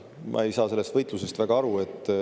Ma ei saa sellest võitlusest väga aru.